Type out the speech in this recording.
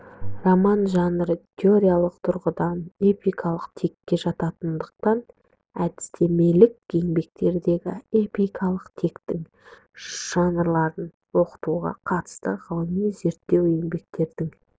роман жанры теориялық тұрғыдан эпикалық текке жататындықтан әдістемелік еңбектердегі эпикалық тектің жанрларын оқытуға қатысты ғылыми зерттеу еңбектердің